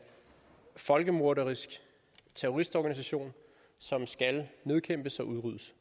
folkemorderisk terroristorganisation som skal nedkæmpes og udryddes